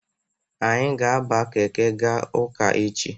Anyị ga-aba keke ga ụka echi.